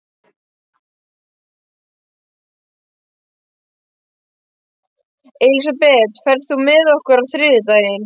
Elisabeth, ferð þú með okkur á þriðjudaginn?